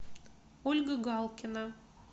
ольга галкина